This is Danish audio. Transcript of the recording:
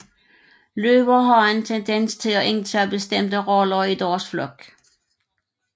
Løver har en tendens til at indtage bestemte roller i deres flok